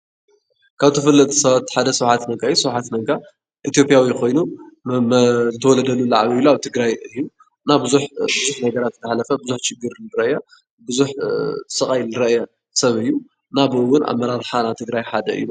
ካብ ተፈለጥቲ ሰባት ሓደ ሰብ ስብሓት ነጋ እዩ:: ስብሓት ነጋ ኢትዮጵያዊ ኮይኑ ተወሊዱ ዝዓበየሉ ኣብ ትግራይ እዩ እና ብዙሕ ብሓድሽ ነገራት ዝተሃነፀ እና ብዙሕ ሽግር ዝረአየ፣ ብዙሕ ስቃይ፣ ዝረአየ ሰብ እዩ ከምኡ ውን ካብ አመራርሓ ትግራይ ሓደ እዩ።